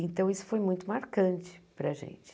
Então, isso foi muito marcante para a gente.